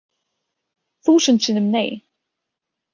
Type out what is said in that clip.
Þúsund sinnum nei.